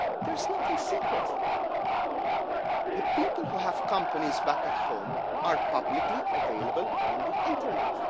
There is nothing secret. The people who have companies back at home are publicly available on the internet.